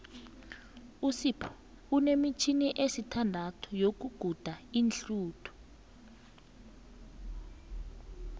usipho unemitjhini esithandathu yokuguda iinhluthu